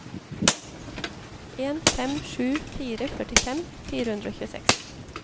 en fem sju fire førtifem fire hundre og tjueseks